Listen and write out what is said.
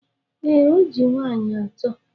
Ee, o ji nwaanyị atọ.